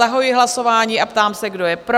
Zahajuji hlasování a ptám se, kdo je pro?